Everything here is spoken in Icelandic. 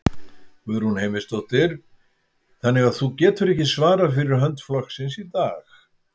Guðrún Heimisdóttir: Þannig að þú getur ekki svarað fyrir hönd flokksins í dag?